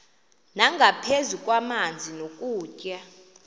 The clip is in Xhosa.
nangaphezu kwamanzi nokutya